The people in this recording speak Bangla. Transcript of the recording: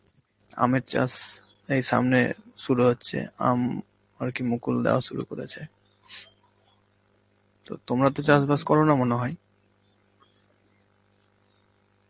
আমের চাষ এই সামনে শুরু হচ্ছে, আম আর কি মুকুল দেওয়া শুরু করেছে. তো তোমরা তো চাষবাস করো না মনে হয়?